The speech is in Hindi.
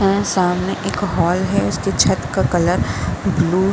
यह सामने एक हॉल है। उसके छत का कलर ब्लू --